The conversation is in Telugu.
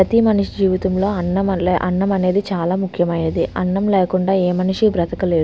ప్రతి మనిషి జీవితంలో అన్నం అన్నం అనేది చాలా ముఖ్యమైనది. అన్నం లేకుండా ఏ మనిషి బ్రతుక లేడ్ --